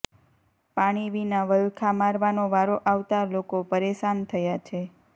પાણી વિના વલખા મારવાનો વારો આવતા લોકો પરેશાન થયા છે